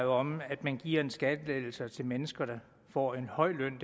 om at man giver skattelettelser til mennesker der får en høj løn